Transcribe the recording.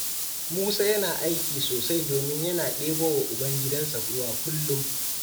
Musa yana aiki sosai domin yana ɗebowa ubangidansa ruwa kullum.